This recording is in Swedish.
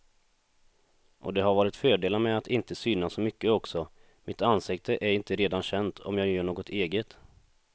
Och det har varit fördelar med att inte synas så mycket också, mitt ansikte är inte redan känt om jag gör något eget.